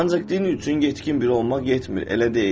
Ancaq din üçün yetkin bir olmaq yetmir, elə deyil?